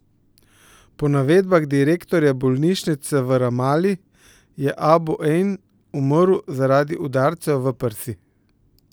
Po navedbah direktorja bolnišnice v Ramali je Abu Ejn umrl zaradi udarcev v prsi.